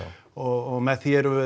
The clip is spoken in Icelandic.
og með því erum við